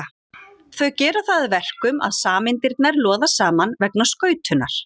Þau gera það að verkum að sameindirnar loða saman vegna skautunar.